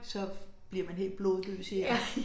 Så bliver man helt blodløs i armene